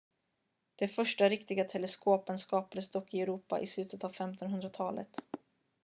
de första riktiga teleskopen skapades dock i europa i slutet av 1500-talet